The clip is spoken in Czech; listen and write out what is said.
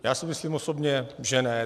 Já si myslím osobně, že ne.